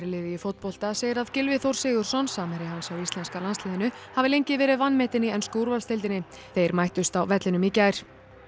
í fótbolta segir að Gylfi Þór Sigurðsson samherji hans í íslenska landsliðinu hafi lengi verið vanmetinn í ensku úrvalsdeildinni þeir mættust á vellinum í gær